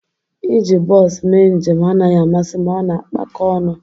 Ị ji bos mee njem anaghị amasị m, ọ na-akpako ọnụ